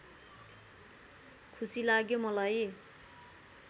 खुसी लाग्यो मलाई